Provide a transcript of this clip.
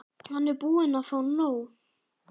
Hann er búinn að fá nóg.